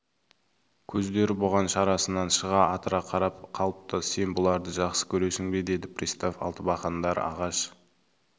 көздері бұған шарасынан шыға атырыла қарап қалыпты сен бұларды жақсы көресің бе деді пристав алтыбақандар ағаш